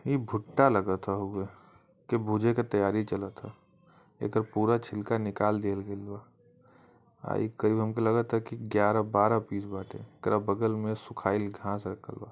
इ भुट्टा लगथ हउऐ के भुजे के तैयारी चलत एकर पूरा छिलका निकाल दिहल गईल बा| आ ई करीब हमके लगाता की ग्यारह बारह पिस बाटे एकर बगल में सुखल घाँस रखल बा--